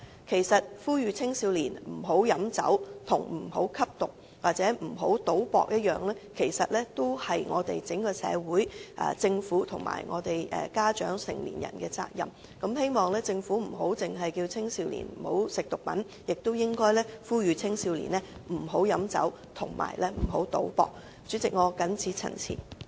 其實，呼籲青少年不要喝酒與呼籲他們不要吸毒或不要賭博一般，是整個社會、政府、家長和成年人的責任。政府不應單單呼籲青少年不要吸食毒品，亦應呼籲青少年不要喝酒和不要賭博才對。主席，我謹此陳辭。